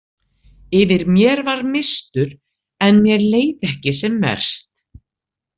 Yfir mér var mistur en mér leið ekki sem verst.